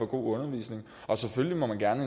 god undervisning og selvfølgelig må man gerne